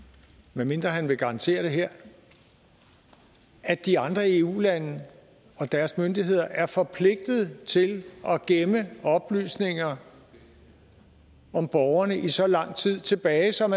medmindre han vil garantere det her at de andre eu lande og deres myndigheder er forpligtet til at gemme oplysninger om borgerne i så lang tid tilbage som